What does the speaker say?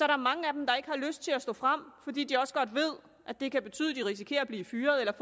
der mange af dem der ikke har lyst til at stå frem fordi de godt ved at det kan betyde at de risikerer at blive fyret